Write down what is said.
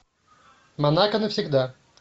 монако навсегда